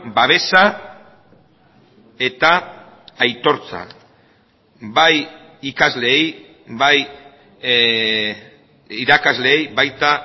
babesa eta aitortza bai ikasleei bai irakasleei baita